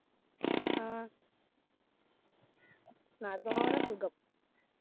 ആഹ് നടന്നു പോകാനാ സുഖം.